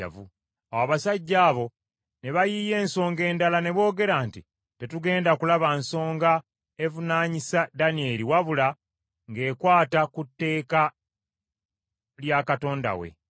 Awo abasajja abo ne bayiiya ensonga endala, ne boogera nti, “Tetugenda kulaba nsonga evunaanyisa Danyeri wabula ng’ekwata ku tteeka lya Katonda we.”